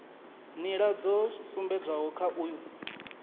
nḓila dzo sumbedzwaho kha uyu